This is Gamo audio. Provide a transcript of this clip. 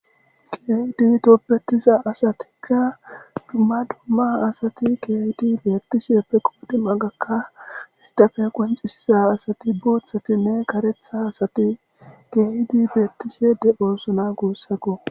keydi toppetiza asatikka dmaduma asati keydi beettishieppe qoodim agakka heedafe qonxisiza asati buuthatinne karetha asati geydi beettishede oossona guussako